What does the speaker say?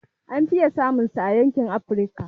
An fiye samun sa a yankin Afrika